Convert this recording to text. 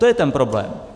To je ten problém.